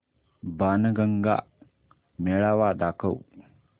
बाणगंगा मेळावा दाखव